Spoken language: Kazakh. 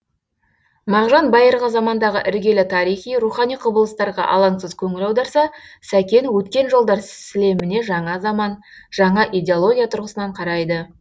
мағжан байырғы замандағы іргелі тарихи рухани құбылыстарға алаңсыз көңіл аударса сәкен өткен жылдар сілеміне жаңа заман жаңа идеология тұрғысынан қарайды